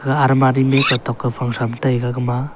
ga almari me ketok kao phang tham taiga gama.